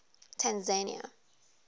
tanzania